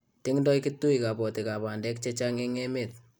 tingdoi kitui kabotikab bandek che chang eng emet